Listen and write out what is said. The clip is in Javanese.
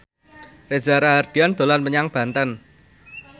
Reza Rahardian dolan menyang Banten